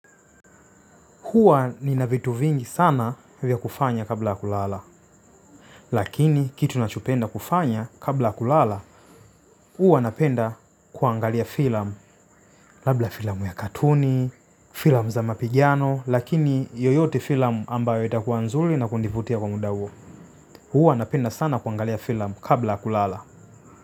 Huwa nina vitu vingi sana vya kufanya kabla ya kulala. Lakini kitu nachopenda kufanya kabla ya kulala, huwa napenda kuangalia filamu. Labla filamu ya katuni, filamu za mapigiano, lakini yoyote filamu ambayo itakuwa nzuri na kunivutia kwa muda huo. Huwa napenda sana kuangalia filam kabla kulala.